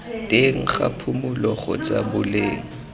teng ga phulo kgotsa boleng